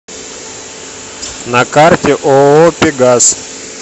на карте ооо пегас